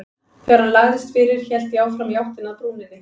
Þegar hann lagðist fyrir hélt ég áfram í áttina að brúninni.